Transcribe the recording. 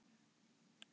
Salir í Hörpu fá nöfn